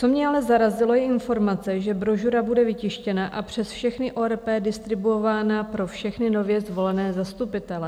Co mě ale zarazilo, je informace, že brožura bude vytištěna a přes všechny ORP distribuována pro všechny nově zvolené zastupitele.